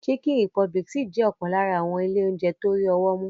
Chicken Republic ṣì jẹ́ ọ̀kan lára àwọn ilé oúnjẹ tó rí ọwọ́ mú.